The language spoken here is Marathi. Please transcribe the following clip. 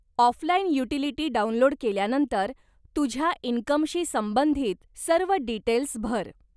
ऑफलाईन युटीलिटी डाउनलोड केल्यानंतर, तुझ्या इनकमशी संबंधित सर्व डीटेल्स भर.